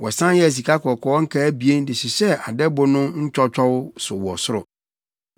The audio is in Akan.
Wɔsan yɛɛ sikakɔkɔɔ nkaa abien de hyehyɛɛ adɛbo no ntwɔtwɔw so wɔ soro.